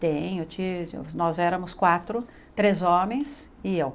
Tenho, ti nós éramos quatro, três homens e eu.